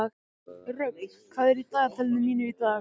Rögn, hvað er í dagatalinu mínu í dag?